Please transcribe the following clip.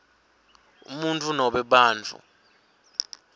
umuntfu nobe bantfu